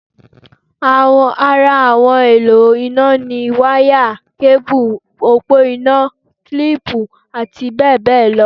Ara àwọn ohun èlò iná ni: wá yà, kébù, òpó iná, kílìpù àti bẹ́ẹ̀ bẹ́ẹ̀ lọ